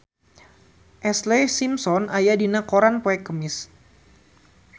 Ashlee Simpson aya dina koran poe Kemis